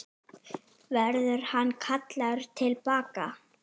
Verður hann kallaður til baka?